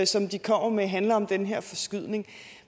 som de kommer med handler om den her forskydning